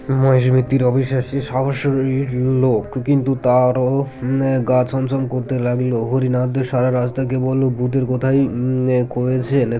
মহেশ মিত্তির অবিশ্বাস্যিক সাহস ওই লোক কিন্তু তারও আ গা ছমছম করতে লাগল হরিনাথ সারা রাস্তা কেবল ভুতের কথাই আ কয়েছেন